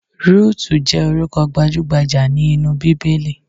Rúùtù jẹ́ orúkọ gbajúgbajà ní inú Bíbélì.